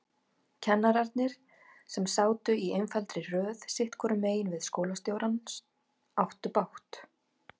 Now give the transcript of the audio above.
Kennararnir, sem sátu í einfaldri röð sitthvoru megin við skólastjórann, áttu bágt.